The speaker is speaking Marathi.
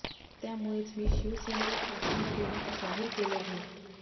त्यामुळेच मी शिवसेनेला पाठिंबा देण्याचे जाहीर केले आहे